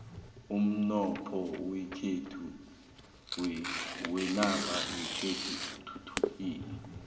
umnotho wenarha yekhethu uthuthukile